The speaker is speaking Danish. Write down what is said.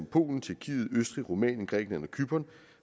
polen tjekkiet østrig rumænien grækenland og cypern